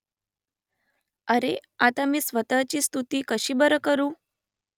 अरे आता मी स्वतःची स्तुती कशी बरं करू ?